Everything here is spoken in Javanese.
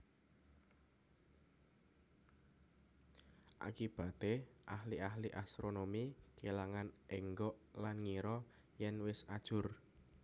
Akibaté ahli ahli astronomi kèlangan énggok lan ngira yèn wis ajur